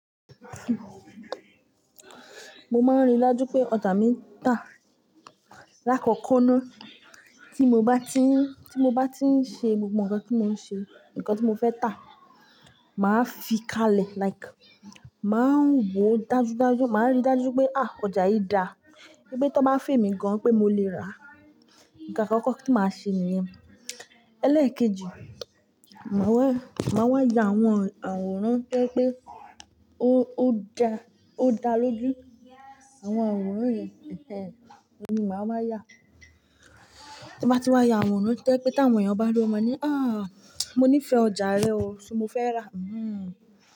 Mo máa ń rí lájú pé ọjà mi ń tà. Láàkókó náà, tí mo bá ti ń, tí mo bá ti ń ṣe gbogbo nǹkan tí mo ń ṣe, nǹkan tí mo fẹ́ tà, màá fi kalẹ̀. Like, màá ń wò dájú dájú, màá rí dájú pé à, ọjà yìí dà. Wípé tó n bá fẹ́ mi gan-an pé mo lè rà. Nǹkan àkọ́kọ́ tí màá ṣe nìyẹn. Ẹlẹ́ẹ̀kejì, màá wẹ, màá wá ya àwọn àwòrán pé pé ó, ó dà, ó dà lójú. Àwọn àwòrán yen, ẹ̀ẹ́, ohun ni màá wá ya. Tí mo bá ti wá ya àwọn àwòrán tó jé pé tí àwọn èèyàn bá ríi, ó máa ni, "àáà, mo níí fẹ ọjà rẹ o, ṣo mo fẹ́ rà." Hhm.